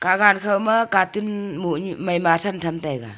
agaan khaw ma carton moneu mai ma athan tham taiga.